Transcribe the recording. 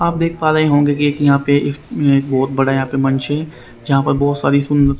आप देख पा रहे होंगे कि एक यहां पे इस बहुत बड़ा यहां पे मंच है जहां पर बहुत सारी सुंदर--